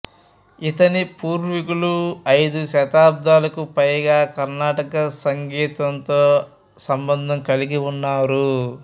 ఇతని పూర్వీకులు ఐదు శతాబ్దాలకు పైగా కర్ణాటక సంగీతంతో సంబంధం కలిగి ఉన్నారు